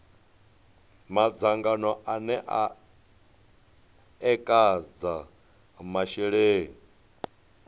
madzangano ane a ekedza masheleni